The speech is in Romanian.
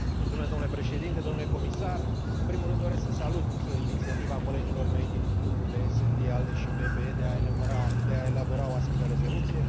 Domnule președinte, domnule comisar, în primul rând doresc să salut inițiativa colegilor mei din grupurile SD, ALDE și PPE de a elabora o astfel de rezoluție.